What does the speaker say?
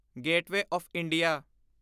gateway of India